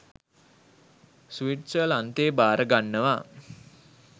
ස්විට්සර්ලන්තය බාරගන්නවා.